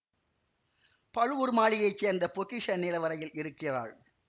பழுவூர் மாளிகையை சேர்ந்த பொக்கிஷ நிலவறையில் இருக்கிறாள்